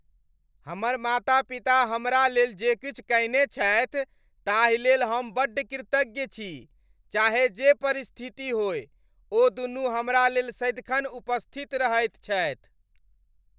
हमर माता पिता हमरा लेल जे किछु कयने छथि ताहि लेल हम बड्ड कृतज्ञ छी। चाहे जे परिस्थिति होय ओदुनू हमरा लेल सदिखन उपस्थित रहैत छथि।